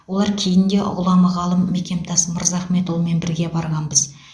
олар кейін де ғұлама ғалым мекемтас мырзахметұлымен бірге барғанбыз